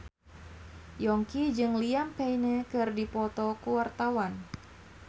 Yongki jeung Liam Payne keur dipoto ku wartawan